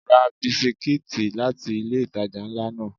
Ra bisikítì láti ilé ìtajà ńlá náà.